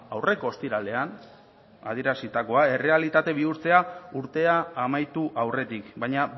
aurreko ostiralean adierazitakoa errealitate bihurtzea urtea amaitu aurretik baina